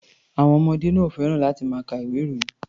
Àwọn ọmọdé náà ò fẹ́ràn láti máa ka ìwé-ìròyìn.